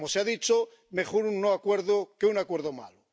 Como se ha dicho, mejor un no acuerdo que un acuerdo malo.